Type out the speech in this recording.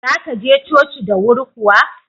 Za ka je coci da wuri kuwa?